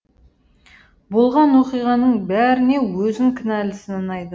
болған оқиғаның бәріне өзін кінәлі санайды